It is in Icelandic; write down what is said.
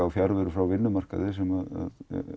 á fjarveru frá vinnumarkaði sem